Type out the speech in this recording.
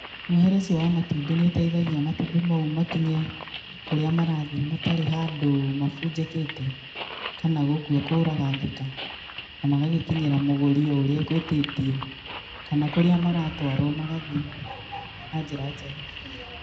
Muohere ũcio wa matumbĩ nĩ ũteithagia matumbĩ mau makinye kũrĩa marathiĩ matarĩ handũ mabunjĩkĩte, kana gũkua kũragangĩka, na magagĩkinyĩra mũgũri o ũrĩa agũĩtĩtie, kana kũrĩa maratwarwo magathiĩ na njĩra njega.